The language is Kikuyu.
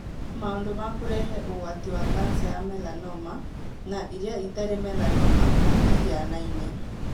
Maũndu ma kũrehe ũgwati wa kanca ya melanoma na ĩrĩa ĩtarĩ melanoma matĩhianaine.